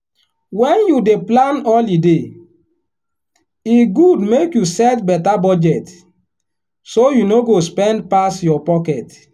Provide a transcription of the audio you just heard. when you dey plan holiday e good make you set better budget so you no go spend pass your pocket.